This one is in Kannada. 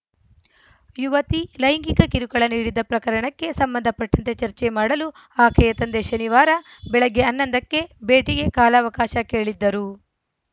ಯುವತಿ ಲೈಂಗಿಕ ಕಿರುಕುಳ ನೀಡಿದ್ದ ಪ್ರಕರಣಕ್ಕೆ ಸಂಬಂಧಪಟ್ಟಂತೆ ಚರ್ಚೆ ಮಾಡಲು ಆಕೆಯ ತಂದೆ ಶನಿವಾರ ಬೆಳಗ್ಗೆ ಹನ್ನೊಂದ ಕ್ಕೆ ಭೇಟಿಗೆ ಕಾಲಾವಕಾಶ ಕೇಳಿದ್ದರು